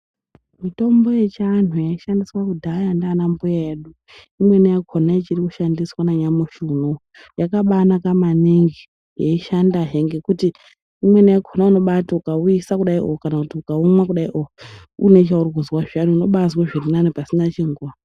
Mitombo yechiandu yaishandiswa kudhaya nana mbuya edu. Imweni yakona ichiri kushandiswa nanyamashi unowu yakabanaka maningi yeishanda he ngekuti imweni yakona unoti ukauyisa kudai muntu ukaumwa une zvauri kuzwa unobazwa zviri nane pasina chinguwa.